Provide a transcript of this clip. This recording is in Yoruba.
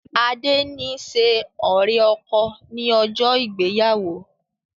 Adé ni ṣe ọ̀rẹ́-ọkọ ni ọjọ́ ìgbéyàwó